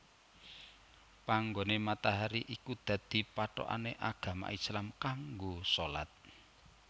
Panggoné matahari iku dadi pathokané agama Islam kanggo shalat